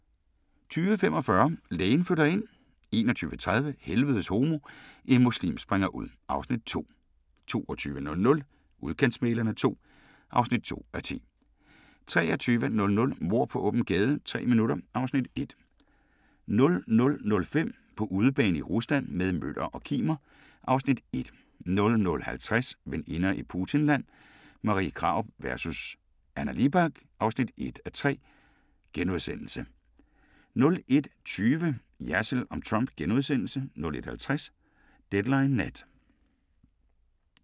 20:45: Lægen flytter ind 21:30: Helvedes homo – en muslim springer ud (Afs. 2) 22:00: Udkantsmæglerne II (2:10) 23:00: Mord på åben gade - tre minutter (Afs. 1) 00:05: På udebane i Rusland – med Møller og Kimer (Afs. 1) 00:50: Veninder i Putinland – Marie Krarup vs. Anna Libak (1:3)* 01:20: Jersild om Trump * 01:50: Deadline Nat